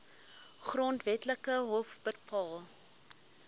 grondwetlike hof bepaal